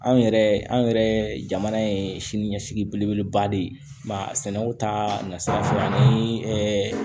Anw yɛrɛ anw yɛrɛ jamana ye sini ɲɛsigi belebeleba de ye mɛ sɛnɛko ta nasira fɛ ani